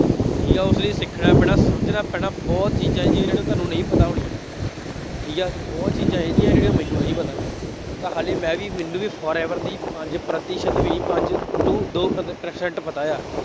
ਠੀਕ ਹੈ ਉਸ ਲਈ ਸਿੱਖਣਾ ਪੈਣਾ, ਸਮਝਣਾ ਪੈਣਾ ਬਹੁਤ ਚੀਜ਼ਾਂ ਜੀ ਜਿਹੜੀਆਂ ਤੁਹਾਨੂੰ ਨਹੀਂ ਪਤਾ ਹੋਣੀਆਂ। ਠੀਕ ਹੈ, ਬਹੁਤ ਚੀਜ਼ਾਂ ਇਹੋ ਜਿਹੀਆਂ ਜਿਹੜੀਆਂ ਮੈਨੂੰ ਨਹੀਂ ਪਤਾ ਹੋਣੀਆਂ, ਤਾਂ ਹਾਲੇ ਮੈਂ ਵੀ, ਮੈਨੂੰ ਵੀ forever ਦੀ ਪੰਜ ਪ੍ਰਤੀਸ਼ਤ ਵੀ, ਪੰਜ two ਦੋ ਪ੍ਰਤੀਸ਼ਤ ਪਤਾ ਹੈ।